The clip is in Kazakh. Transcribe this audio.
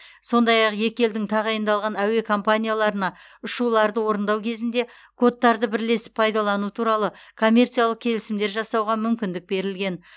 сондай ақ екі елдің тағайындалған әуе компанияларына ұшуларды орындау кезінде кодтарды бірлесіп пайдалану туралы коммерциялық келісімдер жасауға мүмкіндік берілген